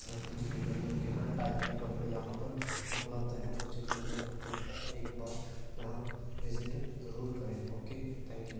सर्दियों के गर्मियों के हर टाइप के कपडे यहा पर उपलब्ध है उचित मूल्य पर कृपया एक बार यहा विजिट जरुर करे ओके थैंक यू।